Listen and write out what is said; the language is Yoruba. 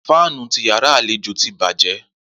Fànú ti yàrá àléjò tì bàjẹ